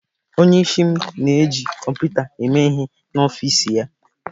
Onyeisi m na-eji kọmputa eme ihe n'ọfịs ya.